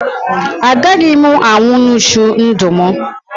Agaghị m anwụ n'uju ndụ m